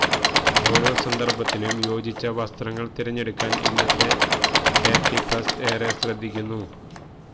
ഓരോ സന്ദര്ഭത്തിനും യോജിച്ച വസ്ത്രങ്ങള് തിരഞ്ഞെടുക്കാന് ഇന്നത്തെ തേര്ട്ടി പ്ലസ് ഏറെ ശ്രദ്ധിക്കുന്നു